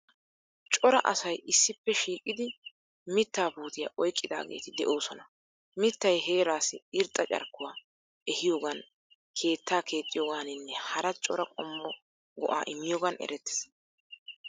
Cora asay issippe shiiqidi mittaa puutiya oyqqidaageeti de'oosona. Mittay heeraassi irxxa carkkuwa ehiyogan keettaa keexxiyogaaninne hara cora qommo go'a immiyogan erettees.